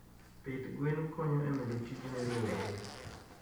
pith gwen konyo e medo tije ne rowere.